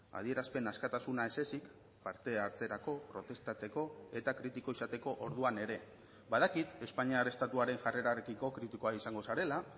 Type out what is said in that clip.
adierazpen askatasuna ez ezik parte hartzerako protestatzeko eta kritiko izateko orduan ere badakit espainiar estatuaren jarrerarekiko kritikoa izango zarela